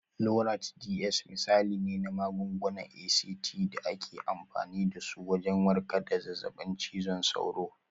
Lonart DS misali ne na magungunan ACT da ake amfani dasu wajen warkar da zazzaɓin cizon sauro.